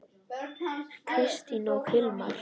Kristín og Hilmar.